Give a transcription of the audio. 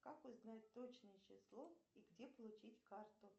как узнать точное число и где получить карту